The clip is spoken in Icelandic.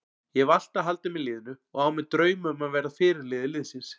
Ég hef alltaf haldið með liðinu og á mér drauma um að verða fyrirliði liðsins.